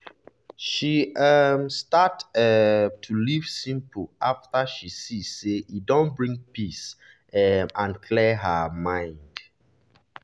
she um start um to live simple after she see say e dey bring peace um and clear her mind.